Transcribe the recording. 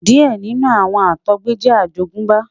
diẹ ninu awọn Àtọgbẹ jẹ àjogúnbá